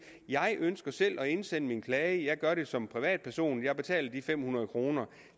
jeg ønsker selv at indsende en klage jeg gør det som privatperson jeg betaler de fem hundrede kroner